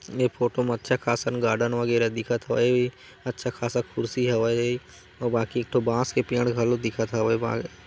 ये फ़ोटो में अच्छा खासन गार्डन वगेरा दिखत हवय अच्छा ख़ासा कुर्सी हावय और बाकी एक ठो बांस के पेड़ घलो दिखत हावय ब--